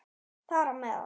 Þar á meðal